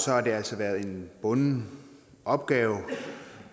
har det altså været en bunden opgave